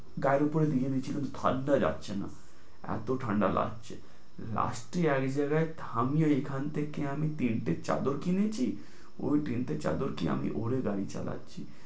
গায়ের উপরে হীম ঝিম ঠাণ্ডা যাচ্ছে না এত ঠাণ্ডা লাগছে, last এ এক জায়গায় থামিয়ে এখান থেকে আমি তিনটে চাদর কিনেছি, ওই তিনটে চাঁদরটি আমি ওরে গাড়ি চালাচ্ছি,